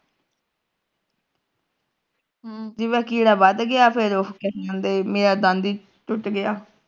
ਹਮ ਜਿਵੇਂ ਉਹ ਕੀੜਾ ਵੱਧ ਗਿਆ ਫਿਰ ਉਹ ਫਿਰ ਕਿ ਕਾਹਦੇ ਮੇਰਾ ਦੰਦ ਈ ਟੁੱਟ ਗਿਆ